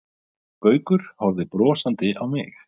Gaukur horfði brosandi á mig.